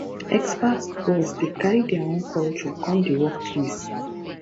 expat boss dey carry their own culture come di work place